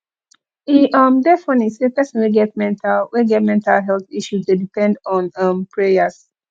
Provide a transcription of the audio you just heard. e um dey funny sey pesin wey get mental wey get mental health issue dey depend on um prayers